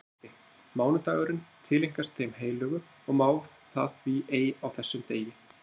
Hún mælti: Mánudagurinn tileinkast þeim heilögu og má það því ei á þessum degi